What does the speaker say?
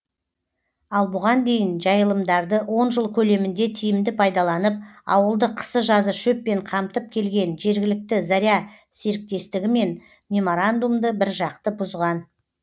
ал бұған дейін жайылымдарды он жыл көлемінде тиімді пайдаланып ауылды қысы жазы шөппен қамтып келген жергілікті заря серіктестігімен меморандумды біржақты бұзған